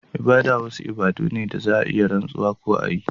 Ibada wasu bukatu ne da za a yi rantsuwa ko a yi